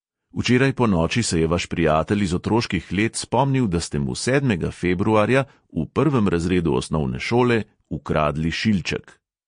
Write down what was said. Včeraj ponoči se je vaš prijatelj iz otroških let spomnil, da ste mu sedmega februarja v prvem razredu osnovne šole ukradli šilček.